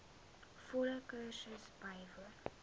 volle kursus bywoon